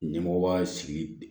Ɲɛmɔgɔ b'a sigi